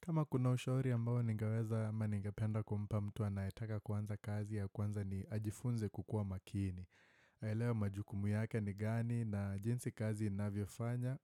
Kama kuna ushauri ambao ningeweza ama ningependa kumpa mtu anayetaka kuanza kazi ya kwanza ni ajifunze kukua makini. Aelewe majukumu yake ni gani na jinsi kazi inavyo fanya